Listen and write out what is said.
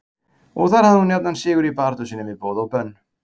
Og þar hafði hún jafnan sigur í baráttu sinni við boð og bönn.